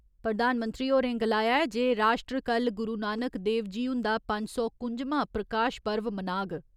प्रधानमंत्री होरें गलाया जे राश्ट्र कल्ल गुरु नानक देव जी हुन्दा पंज सौ कुं'जमां प्रकाश पर्व मनाग।